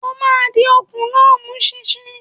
O máa di okùn náà mú ṣinṣin!